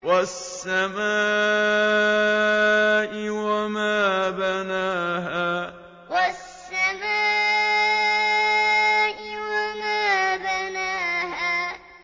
وَالسَّمَاءِ وَمَا بَنَاهَا وَالسَّمَاءِ وَمَا بَنَاهَا